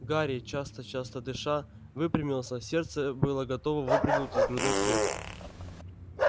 гарри часто-часто дыша выпрямился сердце было готово выпрыгнуть из грудной клетки